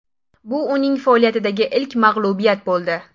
Bu uning faoliyatidagi ilk mag‘lubiyat bo‘ldi.